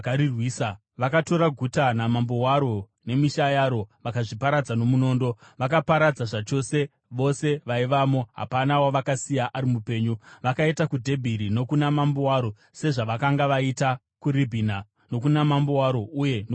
Vakatora guta, namambo waro nemisha yaro, vakazviparadza nomunondo. Vakaparadza zvachose vose vaivamo. Hapana wavakasiya ari mupenyu. Vakaita kuDhebhiri nokuna mambo waro sezvavakanga vaita kuRibhina nokuna mambo waro uye nokuHebhuroni.